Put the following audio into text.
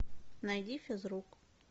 найди физрук